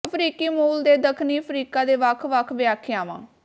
ਅਫ਼ਰੀਕੀ ਮੂਲ ਦੇ ਦੱਖਣੀ ਅਫ਼ਰੀਕਾ ਦੇ ਵੱਖ ਵੱਖ ਵਿਆਖਿਆਵਾਂ